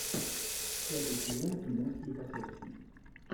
пятый сезон кино склифосовский